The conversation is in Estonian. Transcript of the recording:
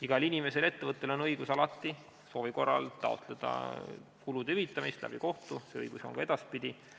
Igal inimesel ja ettevõttel on õigus alati soovi korral taotleda kulude hüvitamist kohtu kaudu, see õigus on ka edaspidi.